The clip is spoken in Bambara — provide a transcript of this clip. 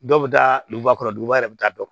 Dɔw bɛ taa duguba kɔnɔ duguba yɛrɛ bɛ taa dɔn